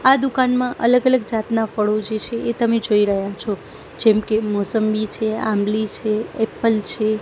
આ દુકાનમાં અલગ અલગ જાતના ફળો જે છે એ તમે જોઈ રહ્યા છો જેમ કે મોસંબી છે આંબલી છે અપ્પ્લે છે.